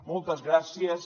moltes gràcies